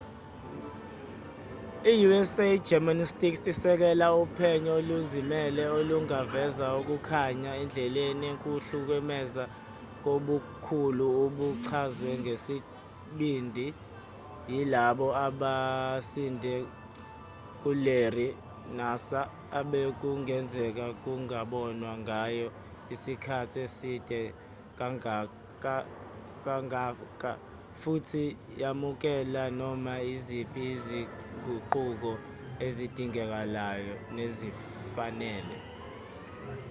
i-usa gymnastics isekela uphenyo oluzimele olungaveza ukukhanya endleleni ukuhlukumeza kobukhulu obuchazwe ngesibindi yilabo abasinde kularry nassar obekungenzeka kungabonwa ngayo isikhathi eside kangaka futhi yamukela noma iziphi izinguquko ezidingekayo nezifanele